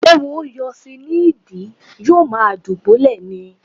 Ééwo yọ sí i ní ìdí, yóò ma dùbúlẹ̀ ni.